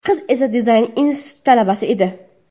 Qiz esa dizayn instituti talabasi edi.